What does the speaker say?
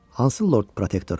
Hansı Lord Protektorun?